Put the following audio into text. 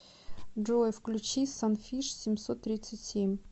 джой включи санфиш семьсот тридцать семь